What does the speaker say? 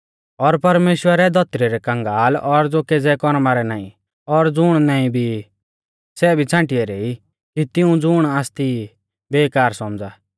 और परमेश्‍वरै धौतरी रै कगांल और ज़ो केज़ै कौरमा रै नाईं और ज़ुण नाईं भी ई सै भी छ़ांटी ऐरै ई कि तिऊं ज़ुण आसती ई बेकार सौमझ़ा